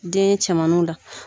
Den cɛman la.